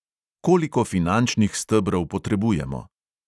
Koliko finančnih stebrov potrebujemo?